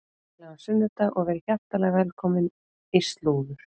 Gleðilegan sunnudag og verið hjartanlega velkomin í slúður.